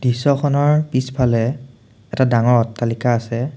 দৃশ্যখনৰ পিছফালে এটা ডাঙৰ অট্টালিকা আছে।